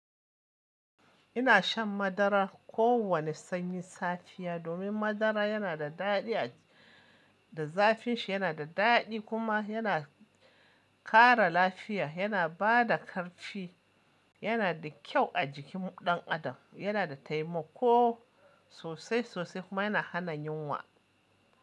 Ina shan madara ko wane sanyin safiya domin madara yana da daɗi a da zafin shi yana da daɗi kuma yana kara lafiya, yana bada ƙarfi, yana da kyau a jikin ɗan adam, yana da taimako sosai sosai kuma yana hana yinwa.